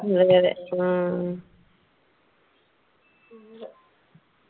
അതെ അതെ ഉം